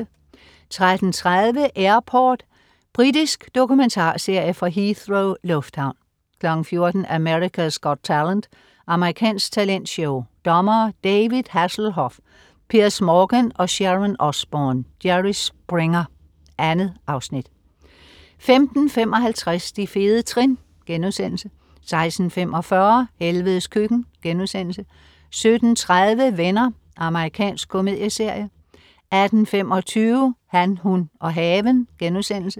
13.30 Airport. Britisk dokumentarserie fra Heathrow lufthavn 14.00 America's Got Talent. Amerikansk talentshow. Dommere: David Hasselhoff, Piers Morgan og Sharon Osbourne. Jerry Springer. 2 afsnit 15.55 De fede trin* 16.45 Helvedes Køkken* 17.30 Venner. Amerikansk komedieserie 18.25 Han, hun og haven*